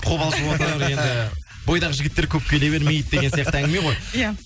қобалжып отыр енді бойдақ жігіттер көп келе бермейді деген сияқты әңгіме ғой иә